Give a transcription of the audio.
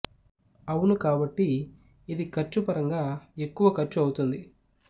అవును కాబట్టి ఇది ఖర్చు పరంగా ఎక్కువ ఖర్చు అవుతుంది